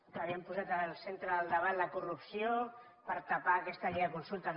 que havíem posat al centre del debat la corrupció per tapar aquesta llei de consultes